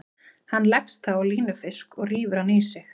Hann leggst þá á línufisk og rífur hann í sig.